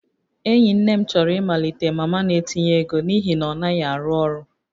Enyi nne m chọrọ ịmalite mama na-etinye ego n'ihi na ọ naghị arụ ọrụ